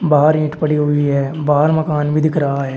बाहर ईंट पड़ी हुई है। बाहर मकान भी दिख रहा है।